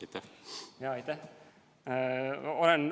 Aitäh!